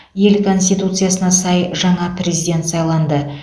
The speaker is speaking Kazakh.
ел конституциясына сай жаңа президент сайланды